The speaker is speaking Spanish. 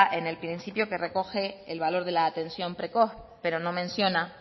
en el principio que recoge el valor de la atención precoz pero no menciona